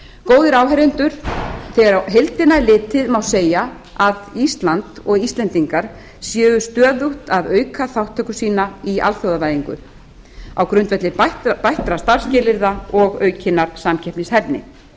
góðir áheyrendur þegar á heildina er litið má segja að ísland og íslendingar séu stöðugt að auka þátttöku í alþjóðavæðingu á grundvelli bættra starfsskilyrða og aukinnar samkeppnishæfni